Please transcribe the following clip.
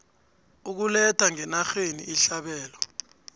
ukuletha ngenarheni ihlabelo